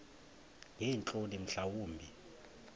ngeentloni mhla wumbi